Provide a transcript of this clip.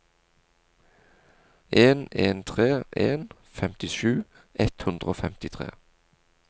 en en tre en femtisju ett hundre og femtitre